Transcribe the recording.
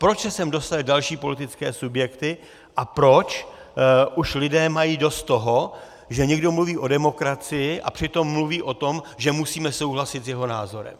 Proč se sem dostaly další politické subjekty a proč už lidé mají dost toho, že někdo mluví o demokracii, a přitom mluví o tom, že musíme souhlasit s jeho názorem.